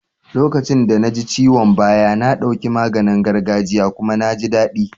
Lokacin da na ji ciwon baya, na ɗauki maganin gargajia kuma na jin daɗi.